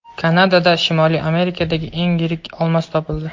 Kanadada Shimoliy Amerikadagi eng yirik olmos topildi.